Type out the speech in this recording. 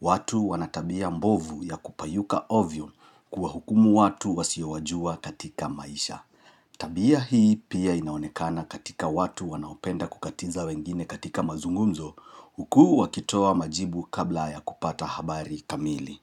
watu wanatabia mbovu ya kupayuka ovyo kuwa hukumu watu wasiowajua katika maisha. Tabia hii pia inaonekana katika watu wanaopenda kukatiza wengine katika mazungumzo huku wakitoa majibu kabla ya kupata habari kamili.